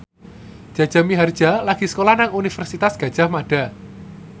Jaja Mihardja lagi sekolah nang Universitas Gadjah Mada